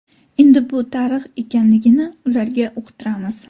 Endi bu tarix ekanligini ularga uqtiramiz.